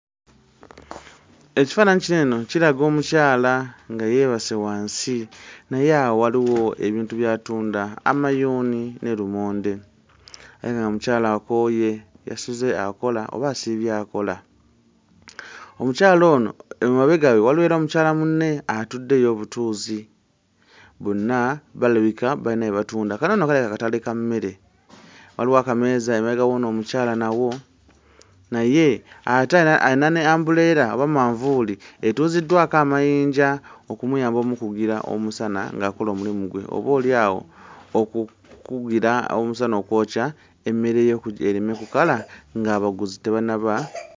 Ekifaananyi kino eno kiraga omukyala nga yeebase wansi naye awo waliwo ebintu by'atunda amayuuni ne lumonde, naye ng'omukyala akooye yasuze akola oba asiibye akola, omukyala ono emabega we waliwo era mukyala munne atudde ye obutuuzi bonna balabika bayina bye batunda, kano nno kalabika katale ka mmere waliwo akameeza emabega w'ono omukyala nawo, naye ate ayina ayina ne umbrella oba manvuuli etuuziddwako amayinja okumuyamba omukugira omusana ng'akola omulimu gwe oboolyawo okukugira omusana okwokya emmere ye okugi ereme kukala ng'abaguzi tebannaba...